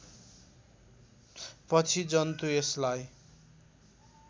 पछि जन्तु यसलाई